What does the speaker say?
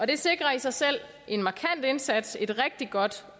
det sikrer i sig selv en markant indsats et rigtig godt